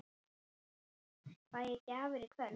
Fæ ég gjafir í kvöld?